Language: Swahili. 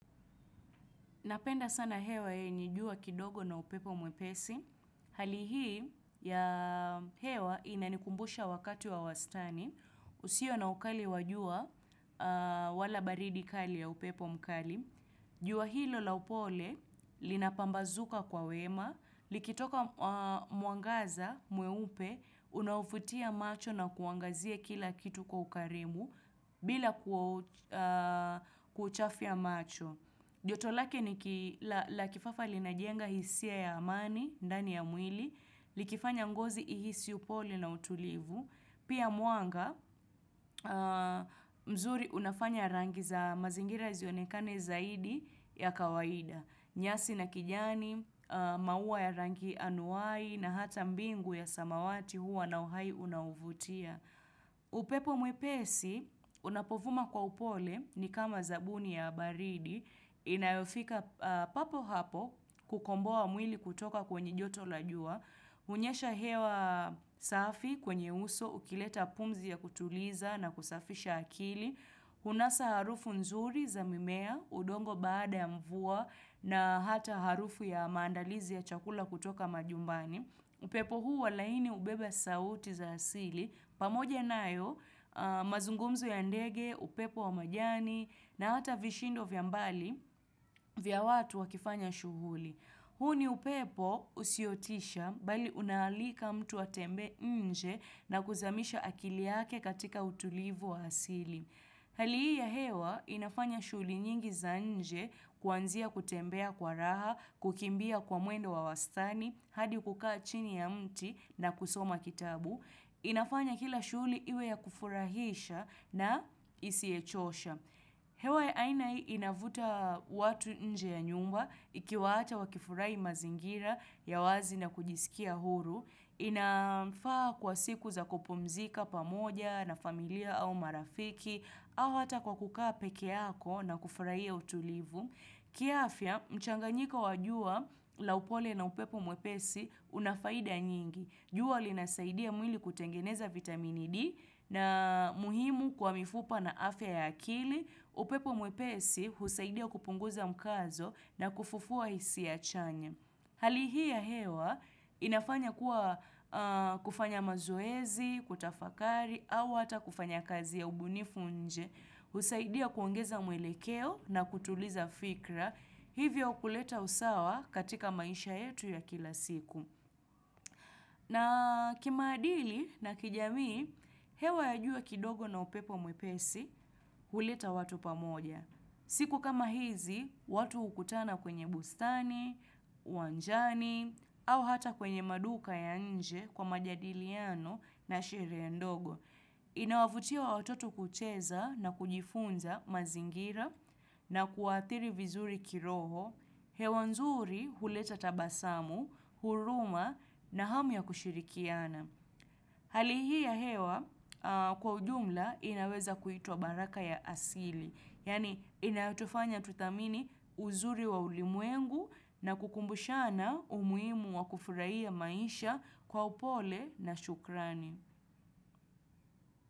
Napenda sana hewa ya jua kidogo na upepo mwepesi. Hali hii ya hewa inanikumbusha wakati wa wastani. Usio na ukali wa jua wala baridi kali ya upepo mkali. Jua hilo la upole linapambazuka kwa wema. Likitoka, mwangaza mweupe unavutia macho na kuangazia kila kitu kwa ukarimu bila kuchafua macho. Joto lake ni la kifafa, linajenga hisia ya amani ndani ya mwili, likifanya ngozi ihisi upole na utulivu.. Pia mwanga, mzuri unafanya rangi za mazingira zionekane zaidi ya kawaida. Nyasi na kijani, maua ya rangi anuwai, na hata mbingu ya samawati huwa na uhai unaovutia. Upepo mwepesi unapovuma kwa upole ni kama zawadi ya baridi inayofika papo hapo kukomboa mwili kutoka kwenye joto la jua. Huvuma hewa safi kwenye uso, ukileta pumzi ya kutuliza na kusafisha akili. Hunasa harufu nzuri za mimea, udongo baada ya mvua na hata harufu ya maandalizi ya chakula kutoka majumbani upepo huu walaini ubebe sauti za asili, pamoja nayo mazungumzu ya ndege, upepo wa majani na hata vishindo vya mbali vya watu wakifanya shughuli. Huu ni upepo usiotisha, bali unamwalika mtu atembee nje na kuzamisha akili yake katika utulivu wa asili. Hali ya hewa inafanya shughuli nyingi za nje, kuanzia kutembea kwa raha, kukimbia kwa mwendo wa wastani, hadi kukaa chini ya mti na kusoma kitabu. Inafanya kila shughuli iwe ya kufurahisha na isiyochosha. Hewa ya aina hii huwavutia watu nje ya nyumba, ili wafurahie mazingira ya wazi na kujisikia huru. Inafaa kwa siku za kupumzika pamoja na familia au marafiki, au hata kwa kukaa peke yako na kufurahia utulivu. Kiafya, mchanganyiko wa jua la upole na upepo mwepesi una faida nyingi. Jua linasaidia mwili kutengeneza vitamini D, ambayo ni muhimu kwa mifupa na afya ya akili. Upepo mwepesi husaidia kupunguza mkazo na kufufua hisia chanya Hali hii ya hewa inafanya kuwa kufanya mazoezi, kutafakari, au hata kufanya kazi ya ubunifu nje husaidia kuongeza mwelekeo na kutuliza fikra, hivyo kuleta usawa katika maisha yetu ya kila siku. Na kimaadili na kijamii, hewa ya jua kidogo na upepo mwepesi huleta watu pamoja. Siku kama hizi, watu hukutana kwenye bustani, uwanjani, au hata kwenye maduka ya nje kwa majadiliano na sherehe ndogo. Inawafaa watoto kucheza na kujifunza mazingira na kuathiri vizuri kiroho, hewa nzuri huleta tabasamu, huruma na hamu ya kushirikiana. Hali hii ya hewa kwa ujumla inaweza kuitwa baraka ya asili. Yaani inatufanya tuamini uzuri wa ulimwengu na kutukumbusha umuhimu wa kufurahia maisha kwa upole na shukrani.